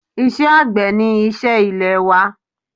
Isé àgbẹ̀ ni isẹ́ ilè wa